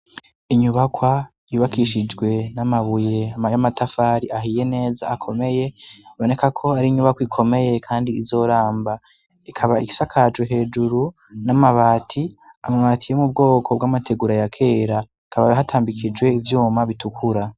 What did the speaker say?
Inyubakwa yubakishijwe n'amabuye ama yamatafari ahiye neza akomeye boneka ko ari inyubako ikomeye, kandi izoramba ikaba igisa kaju hejuru n'amabati amwatiye mu bwoko bw'amategura ya kera akabaya hatambikijwe ivyuma bitukura.